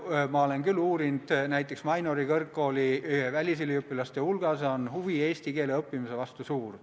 Ma olen uurinud, et näiteks Mainori kõrgkooli välisüliõpilaste hulgas on huvi eesti keele õppimise vastu suur.